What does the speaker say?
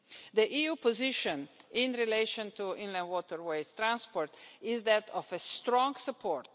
The EU's position in relation to inland waterways transport is that of strong support.